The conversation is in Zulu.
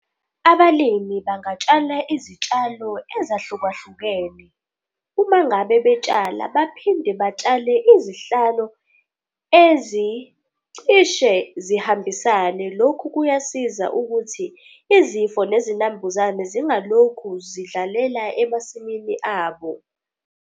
Abalimi bangatshala izitshalo ezahlukahlukene. Uma ngabe betshala baphinde batshale izihlalo ezicishe zihambisane. Lokhu kuyasiza ukuthi izifo nezinambuzane zingalokhu zidlalela emasimini abo.